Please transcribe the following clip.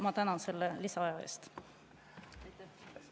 Ma tänan selle lisaaja eest!